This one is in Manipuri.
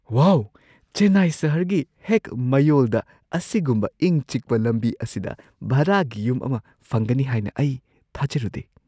ꯋꯥꯎ! ꯆꯦꯟꯅꯥꯏ ꯁꯍꯔꯒꯤ ꯍꯦꯛ ꯃꯌꯣꯜꯗ ꯑꯁꯤꯒꯨꯝꯕ ꯏꯪ-ꯆꯤꯛꯄ ꯂꯝꯕꯤ ꯑꯁꯤꯗ ꯚꯔꯥꯒꯤ ꯌꯨꯝ ꯑꯃ ꯐꯪꯒꯅꯤ ꯍꯥꯏꯅ ꯑꯩ ꯊꯥꯖꯔꯨꯗꯦ꯫